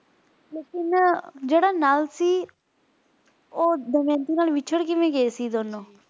ਲੇਕਿਨ ਜਿਹੜਾ ਨਾਲ ਸੀ ਓਹ ਦਮਯੰਤੀ ਨਾਲ ਵਿੱਛੜ ਕਿਵੇਂ ਗਏ ਸੀ ਦੋਨੋ?